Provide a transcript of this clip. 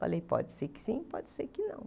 Falei, pode ser que sim, pode ser que não.